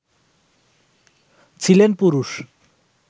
ছিলেন পুরুষ